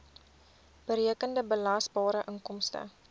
berekende belasbare inkomste